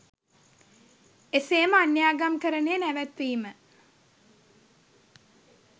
එසේම අන්‍යාගම්කරණය නැවැත්විම